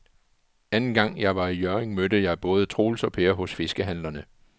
Anden gang jeg var i Hjørring, mødte jeg både Troels og Per hos fiskehandlerne.